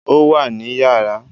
Ó wà ní yàrá